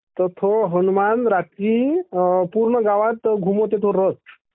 तो रात्री पूर्ण गावात घुमवते तो रथ